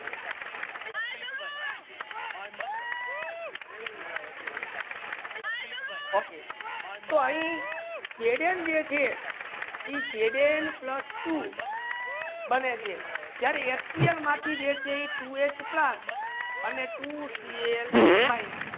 Okay તો આહી Zn જે છે ઇ Zn પ્લસ Two બને છે જ્યારે HCL મા થી જે છે ઈ Two H plus Two Cl minus